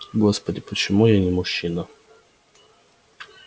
господи почему я не мужчина